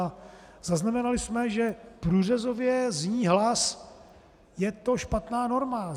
A zaznamenali jsme, že průřezově zní hlas: Je to špatná norma!